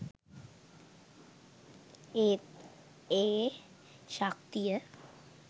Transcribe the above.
ඒත් ඒ ශක්තිය